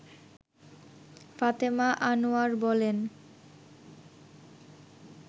ফাতেমা আনোয়ার বলেন